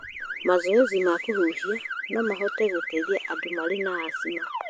Mazoezi ma kũhuhia no mahote gũtethia andũ marĩ na asthma